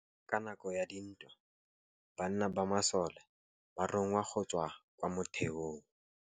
Ka nakô ya dintwa banna ba masole ba rongwa go tswa kwa mothêô.